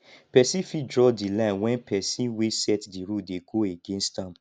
persin fit draw di line when persin wey set di rule dey go against am